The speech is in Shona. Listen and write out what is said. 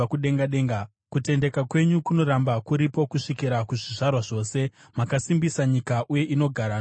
Kutendeka kwenyu kunoramba kuripo kusvikira kuzvizvarwa zvose; makasimbisa nyika uye inogara nokusingaperi.